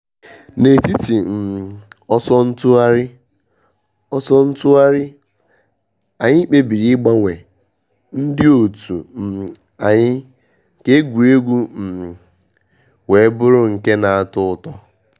N’etiti um ọsọ ntụgharị, ọsọ ntụgharị, anyị kpebiri ịgbanwe ndị òtù um anyi ka egwuregwu um wee bụrụ nke na.-atọ ụtọ.